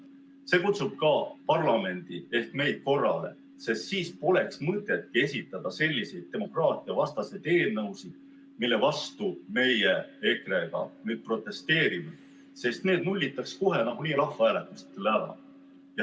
See kutsub ka parlamenti ehk meid korrale, sest siis poleks mõtet esitada selliseid demokraatiavastased eelnõusid, mille vastu meie EKRE-ga nüüd protesteerime, sest need nullitaks kohe nagunii rahvahääletustel ära.